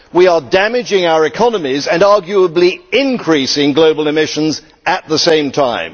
We are damaging our economies and arguably increasing global emissions at the same time.